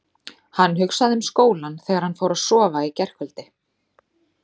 Hann hugsaði um skólann þegar hann fór að sofa í gærkvöldi.